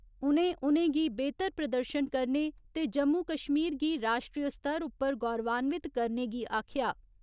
उ'नें उ'नेंगी बेह्तर प्रदर्शन करने ते जम्मू कश्मीर गी राश्ट्री स्तर उप्पर गौरवान्वित करने गी आखेआ।